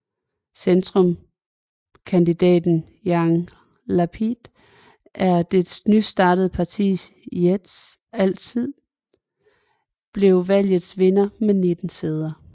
Centrumskandidaten Yair Lapid og det nystartede partiet Yesh Atid blev valgets vindere med 19 sæder